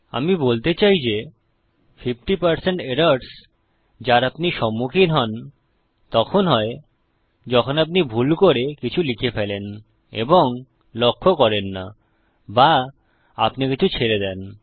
আমি বলতে চাই যে 50 এরর্স যার আপনি সম্মুখীন হন তখন হয় যখন আপনি ভুল করে কিছু লিখে ফেলেন এবং লক্ষ্য করেন না বা আপনি কিছু ছেড়ে দেন